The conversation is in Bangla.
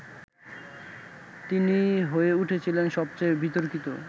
তিনিই হয়ে উঠেছিলেন সবচেয়ে বিতর্কিত